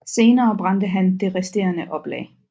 Senere brændte han det resterende oplag